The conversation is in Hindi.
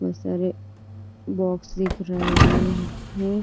बहुत सारे बॉक्स दिख रहे हैं।